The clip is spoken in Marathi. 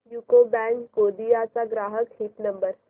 यूको बँक गोंदिया चा ग्राहक हित नंबर